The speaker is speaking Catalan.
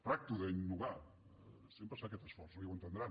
tracto d’innovar sempre es fa aquest esforç no i ho entendran